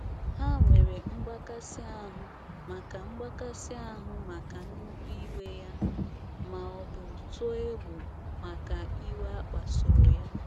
Ha nwere "mgbakasị ahụ maka "mgbakasị ahụ maka nnukwu iwe ya,' ma ọ bụ tụọ egwu maka iwe akpasuru ya.'